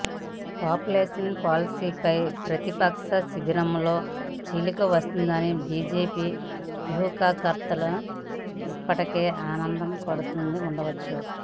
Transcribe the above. population పాలసీపై ప్రతిపక్ష శిబిరంలో చీలిక వస్తుందని బీజేపీ వ్యూహకర్తలు ఇప్పటికే ఆనందపడుతూ ఉండవచ్చు